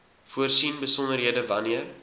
voorsien besonderhede wanneer